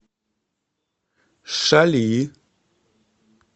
шали